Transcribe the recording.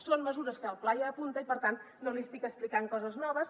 són mesures que el pla ja apunta i per tant no li estic explicant coses noves